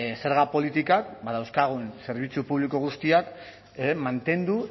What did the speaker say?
zerga politikak badauzkagun zerbitzu publiko guztiak mantendu